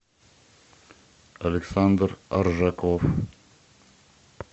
александр аржаков